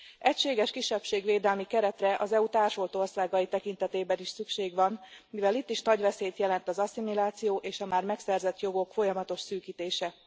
Egységes kisebbségvédelmi keretre, az EU társult országai tekintetében is szükség van, mivel itt is nagy veszélyt jelent az asszimiláció és a már megszerzett jogok folyamatos szűkítése.